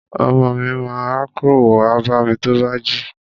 Ọmọ mi ma rákórò wá bámi tó bá jí.